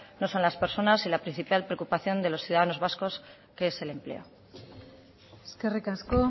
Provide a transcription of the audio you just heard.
no son las personas y la principal preocupación de los ciudadanos vascos que es el empleo eskerrik asko